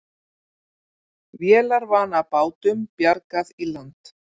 Vélarvana bátum bjargað í land